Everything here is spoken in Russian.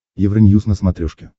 евроньюз на смотрешке